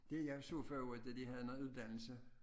Det jeg så for øvrigt da de havde noget uddannelse